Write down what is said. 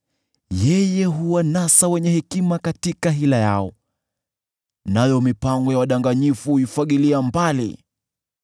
Yeye huwanasa wenye hekima katika hila yao, nayo mipango ya wadanganyifu huifagilia mbali.